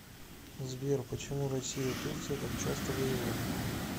сбер почему россия и турция так часто воевали